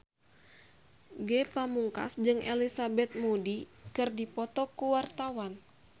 Ge Pamungkas jeung Elizabeth Moody keur dipoto ku wartawan